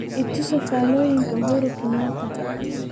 i tuso faallooyinka uhuru kenyatta